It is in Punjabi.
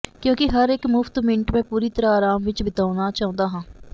ਕਿਉਂਕਿ ਹਰ ਇੱਕ ਮੁਫਤ ਮਿੰਟ ਮੈਂ ਪੂਰੀ ਤਰ੍ਹਾਂ ਆਰਾਮ ਵਿੱਚ ਬਿਤਾਉਣਾ ਚਾਹੁੰਦਾ ਹਾਂ